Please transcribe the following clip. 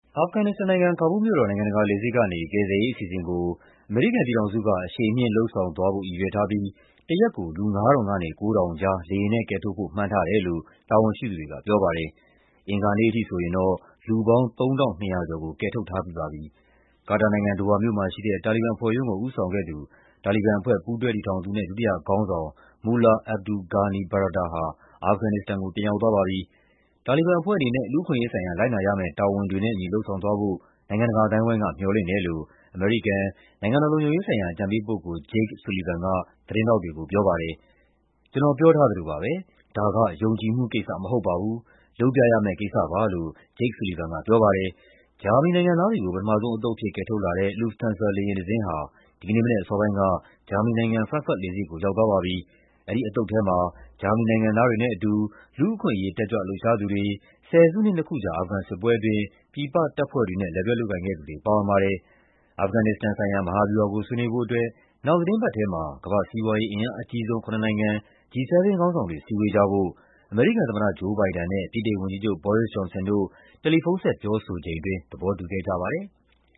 အာဖဂန်နစ္စတန်နိုင်ငံ၊ ကာဘူးလ်မြို့တော် နိုင်ငံတကာလေဆိပ်ကနေ ကယ်ဆယ်ရေးအစီအစဉ်ကို အမေရိကန်ပြည်ထောင်စုက အရှိန်မြှင့်လုပ်ဆောင်သွားဖို့ ရည်ရွယ်ထားပြီး တရက်ကို လူ ၅,၀၀၀ ကနေ ၉,၀၀၀ ကြား လေယာဉ်နဲ့ကယ်ထုတ်ဖို့ မှန်းထားတယ်လို့ တာဝန်ရှိသူတွေကပြောပါတယ်။ အင်္ဂါနေ့အထိဆိုရင်တော့ လူပေါင်း ၃,၂၀၀ ကျော်ကို ကယ်ထုတ်ထားပြီးပါပြီ။ ကာတာနိုင်ငံ၊ ဒိုဟာမြို့မှာရှိတဲ့ တာလီဘန်အဖွဲ့ရုံးကို ဦးဆောင်ခဲ့သူ၊ တာလီဘန်အဖွဲ့ ပူးတွဲတည်ထောင်သူနဲ့ ဒုတိယခေါင်းဆောင် Mullah Abdul Ghani Baradar ဟာ အာဖဂန်နစ္စတန်ကို ပြန်ရောက်သွားပါပြီ။ တာလီဘန်အဖွဲ့အနေနဲ့ လူ့အခွင့်အရေးဆိုင်ရာ လိုက်နာရမယ့် တာဝန်တွေနဲ့အညီ လုပ်ဆောင်သွားဖို့ နိုင်ငံတကာအသိုင်းအဝိုင်းက မျှော်လင့်တယ်လို့ အမေရိကန်၊ နိုင်ငံတော်လုံခြုံရေးဆိုင်ရာ အကြံပေးပုဂ္ဂိုလ် Jake Sullivan က သတင်းထောက်တွေကိုပြောပါတယ်။ "ကျနော် ပြောထားသလိုပါပဲ၊ ဒါက ယုံကြည်မှုကိစ္စမဟုတ်ပါဘူး၊ လုပ်ပြရမယ့်ကိစ္စပါ" လို့ Jake Sullivan ကပြောပါတယ်။ ဂျာမနီနိုင်ငံသားတွေကို ပထမဆုံးအသုတ်အဖြစ် ကယ်ထုတ်လာတဲ့ Lufthansa လေယာဉ်တစင်းဟာ ဒီကနေ့မနက်အစောပိုင်းက ဂျာမနီနိုင်ငံ၊ Frankfurt လေဆိပ်ကို ရောက်သွားပါပြီ။ အဲဒီအသုတ်ထဲမှာ ဂျာမနီနိုင်ငံသားတွေနဲ့အတူ လူ့အခွင့်အရေး တက်ကြွလှုပ်ရှားသူတွေ၊ ဆယ်စုနှစ် နှစ်ခုကြာ အာဖဂန်စစ်ပွဲအတွင်း ပြည်တပ်ဖွဲ့တွေနဲ့ လက်တွဲလုပ်ကိုင်ခဲ့သူတွေ ပါဝင်ပါတယ်။ အာဖဂန်နစ္စတန်ဆိုင်ရာ မဟာဗျူူဟာကို ဆွေးနွေးဖို့အတွက် နောက်သီတင်းပတ်ထဲမှာ ကမ္ဘာ့စီးပွားရေး အင်အားအကြီးဆုံး ခုနစ်နိုင်ငံ G-7 ခေါင်းဆောင်တွေ စည်းဝေးကြဖို့ အမေရိကန်သမ္မတ Joe Biden နဲ့ ဗြိတိန်ဝန်ကြီးချုပ် Boris Johnson တို့ တယ်လီဖုန်းဆက် ပြောဆိုချိန်အတွင်း သဘောတူခဲ့ကြပါတယ်။